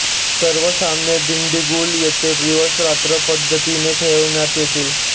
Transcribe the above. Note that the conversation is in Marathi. सर्व सामने दिंडीगुल येथे दिवसरात्र पध्दतीने खेळविण्यात येतील